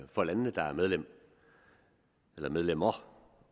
for landene der er medlemmer medlemmer